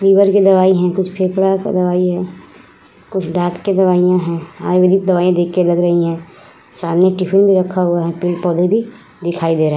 Liver की दवाई हैं। कुछ फेफड़ा का दवाई है। कुछ दाँत की दवाईयाँ हैं। आयुर्वेदिक दवाईयाँ देख के लग रही हैं। सामने टिफिन भी रखा हुवा है। पेड़-पौधे भी दिखाई दे रहे हैं।